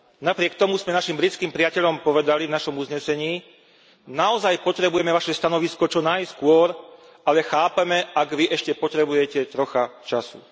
Napriek tomu sme našim britským priateľom povedali v našom uznesení ,,Naozaj potrebujeme Vaše stanovisko čo najskôr, ale chápeme, ak vy ešte potrebujete trocha času.